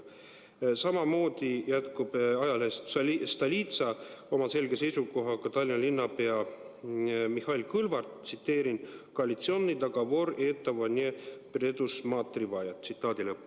" Samamoodi jätkab ajalehes Stolitsa oma selge seisukohaga Tallinna linnapea Mihhail Kõlvart, tsiteerin: "Kоалиционный договор этого не предусматривает.